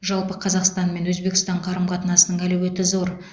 жалпы қазақстан мен өзбекстан қарым қатынасының әлеуеті зор